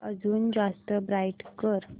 अजून जास्त ब्राईट कर